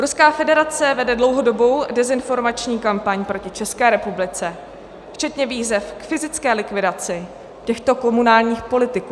Ruská federace vede dlouhodobou dezinformační kampaň proti České republice, včetně výzev k fyzické likvidaci těchto komunálních politiků.